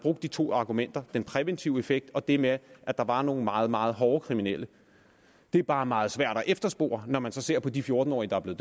de to argumenter den præventive effekt og det med at der var nogle meget meget hårde kriminelle det er bare meget svært at efterspore når man ser på de fjorten årige der er